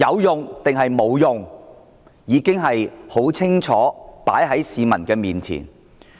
答案已經清楚放在市民面前。